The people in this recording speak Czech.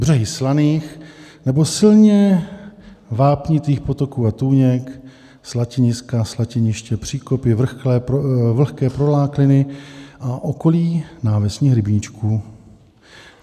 Břehy slaných nebo silně vápnitých potoků a tůněk, slaniska, slatiniště, příkopy, vlhké prolákliny a okolí návesních rybníčků.